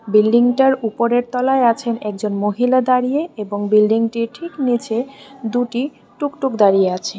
বিল্ডিংটার উপরের তলায় আছেন একজন মহিলা দাঁড়িয়ে এবং বিল্ডিংটির ঠিক নীচে দুটি টুক টুক দাঁড়িয়ে আছে।